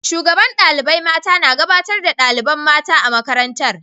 Shugaban dalibain mata na gabatar da dalibain mata a'makarantan.